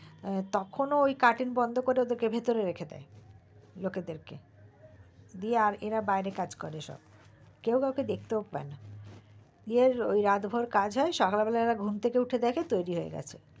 তখন ওই cutting বন্ধ করে ওদের কে ভিতরে রেখে দেয় লোকদেরকে দিয়ে এরা বাইরে কাজ করে সব কেও কাউকে দেখতেও পায় না গিয়ে রাত ভোরে কাজ করে আর সকালে উঠে দেখে যে তৈরী হয়ে গেছে